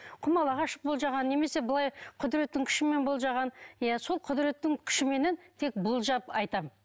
құмалақ ашып болжаған немесе былай құдіреттің күшімен болжаған иә сол құдіреттің күшіменен тек болжап айтамын